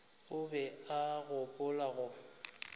o be a gopola go